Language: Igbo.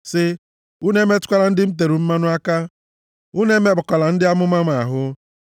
sị, “Unu emetụkwala ndị m e tere mmanụ aka; unu emekpakwala ndị amụma m ahụ.”